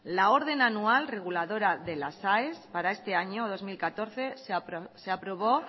la orden anual reguladora de las aes para este año dos mil catorce se aprobó